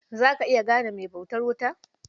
Za ka iya gane mai bautar wuta?